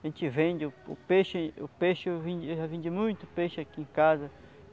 A gente vende, o peixe, o peixe, eu vendi eu já vendi muito peixe aqui em casa.